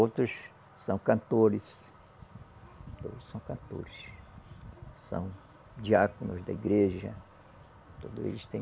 Outros são cantores, são cantores, são diáconos da igreja, todos eles têm